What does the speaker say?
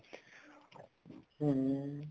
ਹਮ